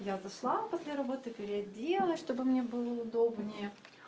я зашла после работы переоделась чтобы мне было удобнее